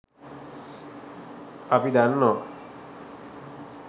අප දන්නවා